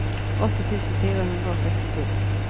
åtti tusen fire hundre og sekstito